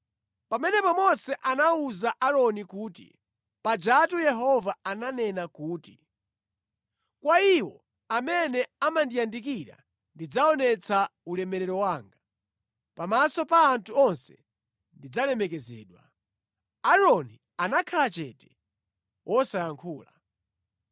Pamenepo Mose anawuza Aaroni kuti, “Pajatu Yehova ananena kuti, “ ‘Kwa iwo amene amandiyandikira ndidzaonetsa ulemerero wanga; pamaso pa anthu onse ndidzalemekezedwa.’ ” Aaroni anakhala chete wosayankhula.